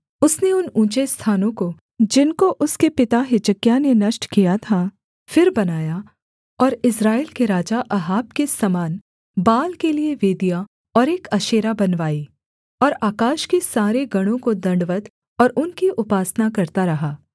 उसने उन ऊँचे स्थानों को जिनको उसके पिता हिजकिय्याह ने नष्ट किया था फिर बनाया और इस्राएल के राजा अहाब के समान बाल के लिये वेदियाँ और एक अशेरा बनवाई और आकाश के सारे गणों को दण्डवत् और उनकी उपासना करता रहा